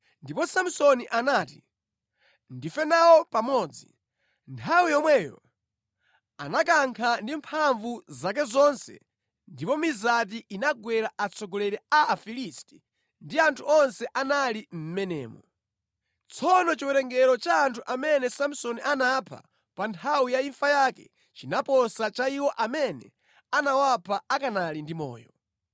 ndipo Samsoni anati, “Ndife nawo pamodzi!” Nthawi yomweyo anakankha ndi mphamvu zake zonse ndipo mizati inagwera atsogoleri a Afilisti ndi anthu onse anali mʼmenemo. Tsono chiwerengero cha anthu amene Samsoni anapha pa nthawi ya imfa yake chinaposa cha iwo amene anawapha akanali ndi moyo.